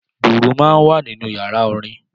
Dùrù máa ń wà nínú yàrá orin